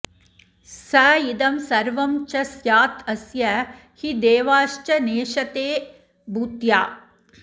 स इदं सर्वं च स्यात्तस्य हि देवाश्च नेशते भूत्या